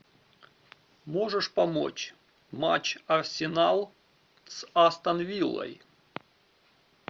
можешь помочь матч арсенал с астон виллой